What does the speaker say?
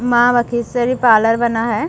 माँ बम्लेश्वरी पार्लर बना है।